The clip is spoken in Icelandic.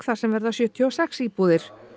þar sem verða sjötíu og sex íbúðir